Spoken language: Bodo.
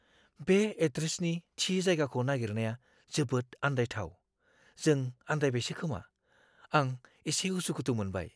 बे एड्रेसनि थि जायगाखौ नागिरनाया जोबोद आन्दायथाव। जों आन्दायबायसो खोमा, आं एसे उसुखुथु मोनबाय!